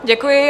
Děkuji.